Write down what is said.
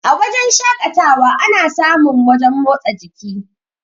A wajen shakatawa ana sa mun wajen motsa jiki